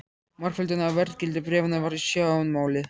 Margföldun á verðgildi bréfanna var í sjónmáli.